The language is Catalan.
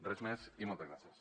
res més i moltes gràcies